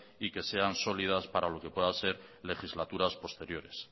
y que sean sólidas para lo que puedan ser legislaturas posteriores